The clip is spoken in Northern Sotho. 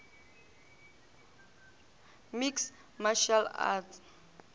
mixed martial arts